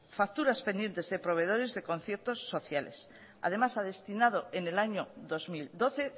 facturas pendientes de proveedores de conciertos sociales además ha destinado en el año dos mil doce